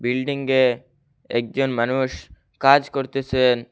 বিল্ডিংয়ে একজন মানুষ কাজ করতেসেন।